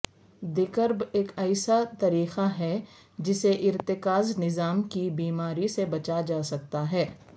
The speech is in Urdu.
دیکرب ایک ایسا طریقہ ہے جسے ارتکاز نظام کی بیماری سے بچا سکتا ہے